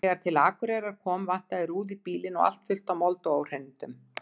Þegar til Akureyrar kom vantaði rúðu í bílinn og allt fullt af mold og óhreinindum.